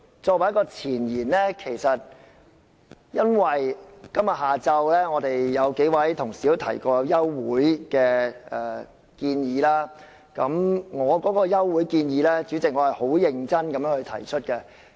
作為一個前言，我想指出，今天下午曾有數位同事提出休會待續的建議，而主席，我是很認真地提出休會待續的建議。